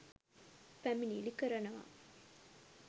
පැමිණිලි කරනවා.